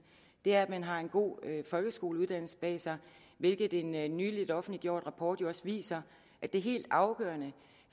er at man har en god folkeskoleuddannelse bag sig hvilket en en nylig offentliggjort rapport jo også viser det helt afgørende